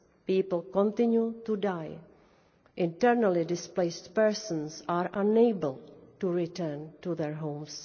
people continue to die. Internally displaced persons are unable to return to their homes.